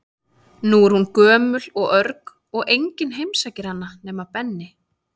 Nú er hún gömul og örg og enginn heimsækir hana nema við Benni.